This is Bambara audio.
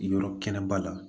Yɔrɔ kɛnɛba la